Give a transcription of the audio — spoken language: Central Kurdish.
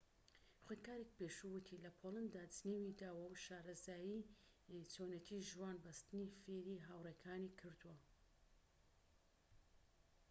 خوێندکارێکی پێشوو وتی لە پۆلدا جنێوی داوە و شارەزایی چۆنیەتی ژوان بەستنی فێری هاوڕێکانی کردووە